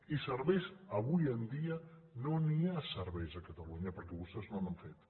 i serveis avui en dia no n’hi ha de serveis a catalunya perquè vostès no n’han fet